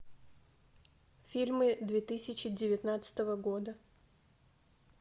фильмы две тысячи девятнадцатого года